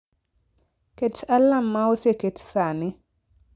Ket alarm ma oseket sani